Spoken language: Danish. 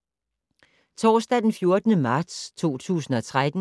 Torsdag d. 14. marts 2013